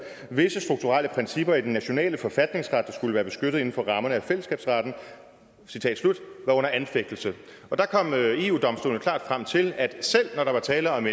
visse strukturelle principper i den nationale forfatningsret der skulle være beskyttet inden for rammerne af fællesskabsretten var under anfægtelse der kom eu domstolen klart frem til at selv når der var tale om